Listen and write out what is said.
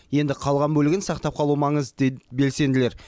енді қалған бөлігін сақтап қалу маңызды дейді белсенділер